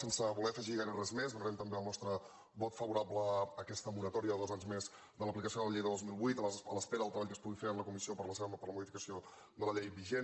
sense voler·hi afegir gaire res més dona·rem també el nostre vot favorable a aquesta moratòria de dos anys més de l’aplicació de la llei de dos mil vuit a l’espera del treball que es pugui fer en la comissió per la modificació de la llei vigent